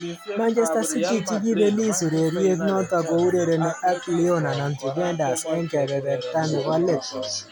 Manchester City chikipelis ureriet noto kourereni ak Lyon anan Juventus eng kepeperta nebo let.